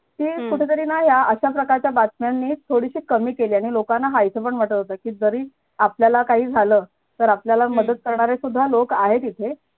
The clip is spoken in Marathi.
ती कुठे तरी ना या अशा प्रकारच्या बातम्यांनी थोडीशी कमी केलेय म्हणून लोकांना माहिती पण जरी आपल्याला काही झालं तर आपल्याला मदत करणारे सुद्धा लोक आहेत इथे